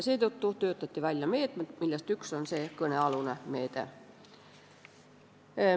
Seetõttu töötati välja meetmed, millest üks on kõnealune meede.